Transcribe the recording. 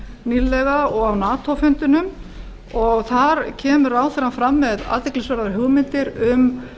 nýlega og á nato fundinum og þar kemur ráðherrann fram með athyglisverðar hugmyndir um